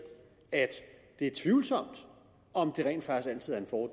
at det er tvivlsomt om